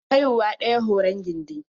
Haihuwa ɗaya horon gindi.